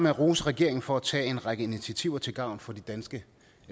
at rose regeringen for at tage en række initiativer til gavn for de danske